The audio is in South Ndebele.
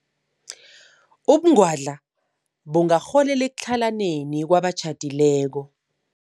Ubungwadla bungarholela ekutlhalaneni kwabatjhadileko.